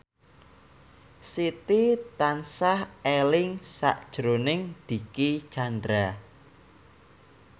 Siti tansah eling sakjroning Dicky Chandra